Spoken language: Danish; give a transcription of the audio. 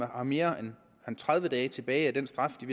har mere end tredive dage tilbage af den straf de